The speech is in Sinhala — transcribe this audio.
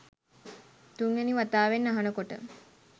තුන්වැනි වතාවෙත් අහනකොට